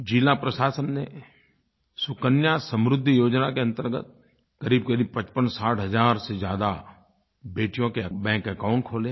ज़िला प्रशासन ने सुकन्या समृद्धि योजना के अंतर्गत क़रीबक़रीब 5560 हज़ार से ज्यादा बेटियों के बैंक अकाउंट खोले हैं